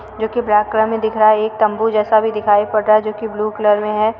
जो कि black colour में दिख रहा है। एक तम्बू जैसा भी दिखाई पड़ रहा है जो कि ब्लू कलर में है।